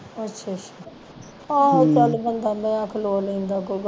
ਅੱਛਾ ਅੱਛਾ ਆਹੋ ਚਲ ਬੰਦਾ ਨਯਾ ਖਲੋ ਲੈਂਦਾ ਕੋਈ